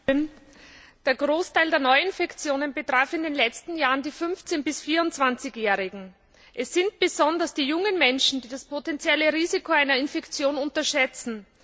Frau Präsidentin! Der Großteil der Neuinfektionen betraf in den letzten Jahren die 15 bis 24 Jährigen. Es sind besonders die jungen Menschen, die das potenzielle Risiko einer Infektion unterschätzen.